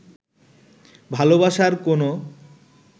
ভালোবাসার কোনো